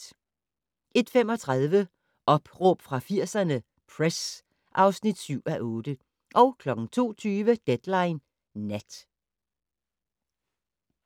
01:35: Opråb fra 80'erne - Press (7:8) 02:20: Deadline Nat